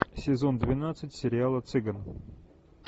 сезон двенадцать сериала цыган